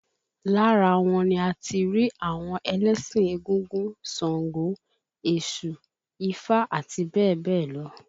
Lára wọn ni a ti rí àwọn ẹlẹ́sìn égúngún, sàngó, Èṣù, ifá àti bẹ́ẹ̀ bẹ́ẹ̀ lọ